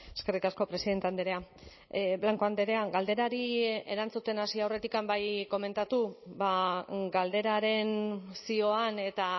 eskerrik asko presidente andrea blanco andrea galderari erantzuten hasi aurretik bai komentatu galderaren zioan eta